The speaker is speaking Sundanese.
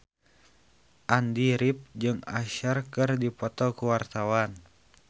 Andy rif jeung Usher keur dipoto ku wartawan